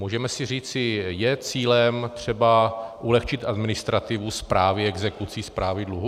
Můžeme si říci - je cílem třeba ulehčit administrativu správy exekucí, správy dluhu.